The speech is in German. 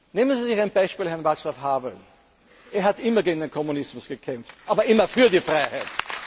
Nehmen Sie sich ein Beispiel an Václav Havel. Er hat immer gegen den Kommunismus gekämpft aber immer für die